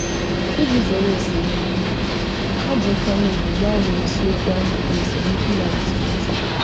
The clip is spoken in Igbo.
Iji zere esemokwu, ha ji nkwanye ùgwù gbanwee isiokwu ahụ mgbe esemokwu malitere ọzọ.